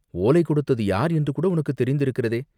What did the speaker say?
ஓலை கொடுத்தது யார் என்று கூட உனக்குத் தெரிந்திருக்கிறதே!